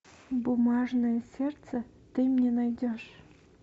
бумажное сердце ты мне найдешь